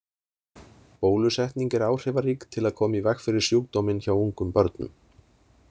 Bólusetning er áhrifarík til að koma í veg fyrir sjúkdóminn hjá ungum börnum.